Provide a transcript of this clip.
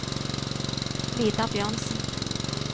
Vidar Bjørnsen